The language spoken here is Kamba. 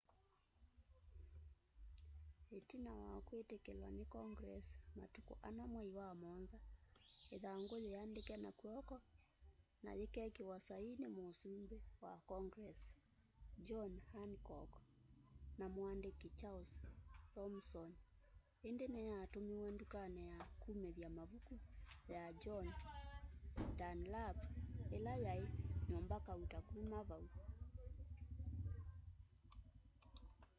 itina wa kwitikilwa ni congress matuku 4 mwai wamuonza ithangu yiandike na kw'oko na yikekiwa saii ni musumbi wa congress john hancock na muandiki charles thomson indi niyatumiwe ndukani ya kumithya mavuku ya john dunlap ila yai nyumba kauta kuma vau